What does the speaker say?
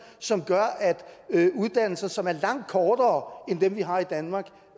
som gør at uddannelser som er langt kortere end dem vi har i danmark